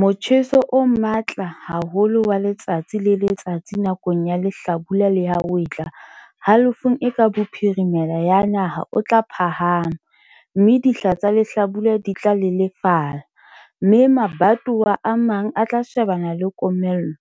Motjheso o matla haholo wa letsatsi le letsatsi nakong ya lehlabula le ya hwetla halofong e ka bophirimela ya naha o tla phahama, mme dihla tsa lehlabula di tla lelefala, mme mabatowa a mang a tla shebana le komello,